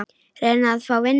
Reyna að fá vinnu?